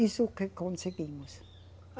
Isso que conseguimos.